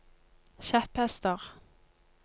kjepphester